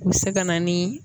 U bɛ se ka na ni